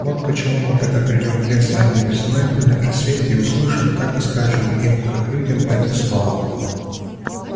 вот почему мы когда придём в лес ранней весной на рассвете и услышим так и скажем им как людям это слово